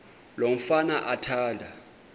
lo mfana athanda